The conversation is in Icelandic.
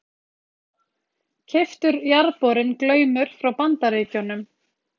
Keyptur jarðborinn Glaumur frá Bandaríkjunum.